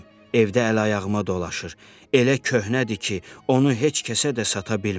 Evdə əl-ayağıma dolaşır, elə köhnədir ki, onu heç kəsə də sata bilmərəm.